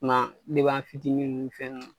Ma an fitinin nunnu fɛn na